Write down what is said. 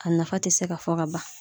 A nafa tɛ se ka fɔ ka ban.